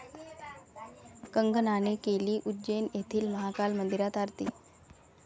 कंगनाने केली उज्जैन येथील महाकाल मंदिरात आरती